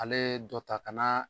Ale dɔ ta ka na.